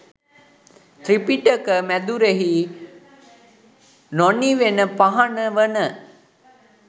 ත්‍රිපිටක මැදුරෙහි නොනිවෙන පහන වන